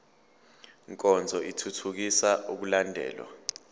nkonzo ithuthukisa ukulandelwa